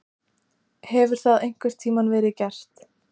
Hefur það einhvern tímann verið gert?